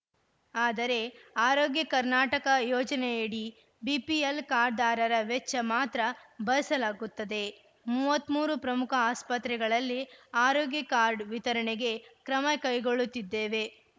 ಆದರೆ ಆರೋಗ್ಯ ಕರ್ನಾಟಕ ಯೋಜನೆಯಡಿ ಬಿಪಿಎಲ್‌ ಕಾರ್ಡ್‌ದಾರರ ವೆಚ್ಚ ಮಾತ್ರ ಭರಿಸಲಾಗುತ್ತದೆ ಮೂವತ್ತ್ ಮೂರು ಪ್ರಮುಖ ಆಸ್ಪತ್ರೆಗಳಲ್ಲಿ ಆರೋಗ್ಯ ಕಾರ್ಡ್‌ ವಿತರಣೆಗೆ ಕ್ರಮ ಕೈಗೊಳ್ಳುತ್ತಿದ್ದೇವೆ